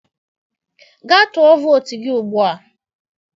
Gaa tụọ vootu gị ugbu a!